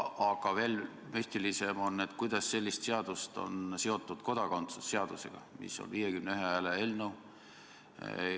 Aga veel müstilisem on, kuidas selline seadus on seotud kodakondsuse seadusega, mis on nn 51 hääle eelnõu.